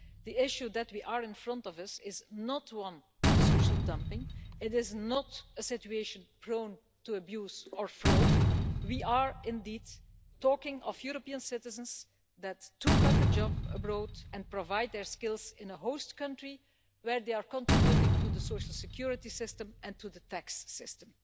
The issue that we have in front of us is not one of social dumping, it is not a situation prone to abuse or fraud we are indeed talking of European citizens who took up a job abroad and provide their skills in a host country where they are contributing to the social security system and to the tax system.